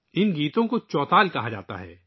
ان گیتوں کو چوتل کہتے ہیں